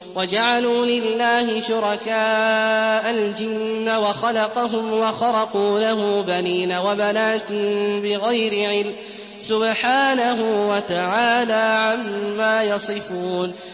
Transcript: وَجَعَلُوا لِلَّهِ شُرَكَاءَ الْجِنَّ وَخَلَقَهُمْ ۖ وَخَرَقُوا لَهُ بَنِينَ وَبَنَاتٍ بِغَيْرِ عِلْمٍ ۚ سُبْحَانَهُ وَتَعَالَىٰ عَمَّا يَصِفُونَ